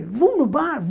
Vão no bar?